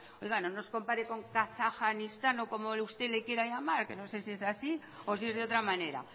oiga no nos compare con kazajstán o como usted le quiera llamar que no sé si es así o si es de otra manera